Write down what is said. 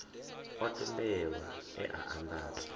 o tendelwaho e a andadzwa